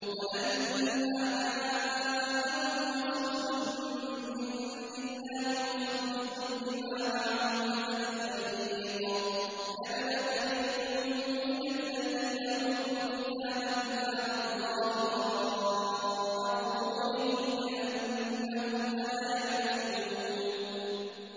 وَلَمَّا جَاءَهُمْ رَسُولٌ مِّنْ عِندِ اللَّهِ مُصَدِّقٌ لِّمَا مَعَهُمْ نَبَذَ فَرِيقٌ مِّنَ الَّذِينَ أُوتُوا الْكِتَابَ كِتَابَ اللَّهِ وَرَاءَ ظُهُورِهِمْ كَأَنَّهُمْ لَا يَعْلَمُونَ